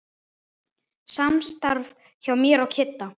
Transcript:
Samstarf hjá mér og Kidda?